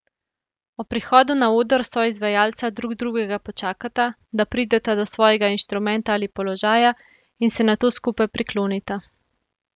Ob prihodu na oder soizvajalca drug drugega počakata, da prideta do svojega instrumenta ali položaja, in se nato skupaj priklonita.